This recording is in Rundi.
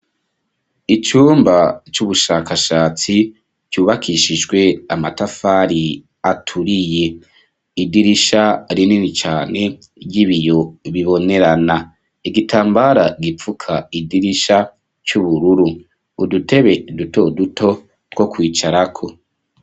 Icumba c'ubushakashatsi ryubakishijwe amatafari aturiye idirisha rinini cane ry'ibiyo bibonerana igitambara gipfuka idirisha c'ubururu udutebe dutoduto two kwicarako.